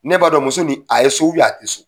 Ne b'a dɔn muso ni, a ye so a tɛ so.